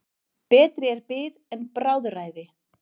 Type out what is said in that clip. Betri er bið en bráðræði.